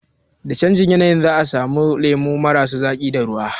Da canjin yanayi za a daina samun lemu marasa zaƙi da ruwa